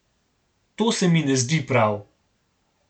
To se mi ne zdi prav.